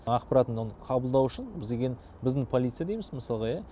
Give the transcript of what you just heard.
ақпараттын оның қабылдау үшін бізге деген біздің полиция дейміз мысалға иә